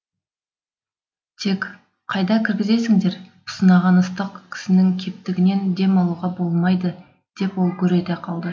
тек қайда кіргізесіңдер пысынаған ыстық кісінің кептігінен дем алуға болмайды деп ол гүр ете қалды